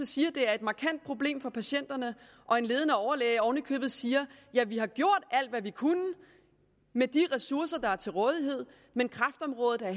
siger at det er et markant problem for patienterne og en ledende overlæge oven i købet siger at de har gjort alt hvad de kunne med de ressourcer der er til rådighed men kræftområdet er